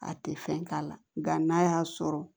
A tɛ fɛn k'a la nka n'a y'a sɔrɔ